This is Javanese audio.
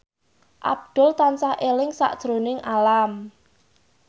Abdul tansah eling sakjroning Alam